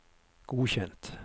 godkjent